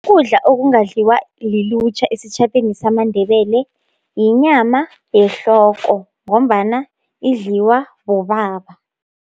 Ukudla okungadliwa lilutjha esitjhabeni samandebele, yinyama yehloko, ngombana idliwa bobaba.